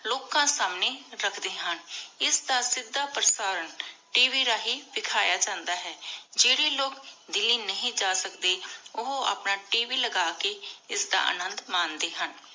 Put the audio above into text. ਲੋਕਾਂ ਸਮਾਨ੍ਯ ਰਖਦੇ ਹਨ ਇਸ ਦਾ ਸਿਧਾ ਪ੍ਰਸਾਰਣ ਟੀ ਵੀ ਰਹੀ ਵਿਖਾਯਾ ਜਾਂਦਾ ਹੈ ਜੇਰੀ ਲੋਗ ਦਿੱਲੀ ਨਹੀ ਜਾ ਸਕਦੇ ਓਹੋ ਆਪਣ ਟੀ ਵੀ ਲਗਾ ਕੀ ਇਸ ਦਾ ਅਨਾਨਾਦ ਮੰਡੇ ਹਨ